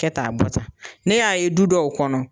Kɛ tan a bɔ tan. Ne y'a ye du dɔw kɔnɔ